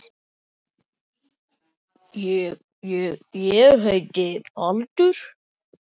Valdar hafa verið ákveðnar steindir til að einkenna hvert stig.